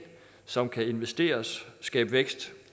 som kan investeres skabe vækst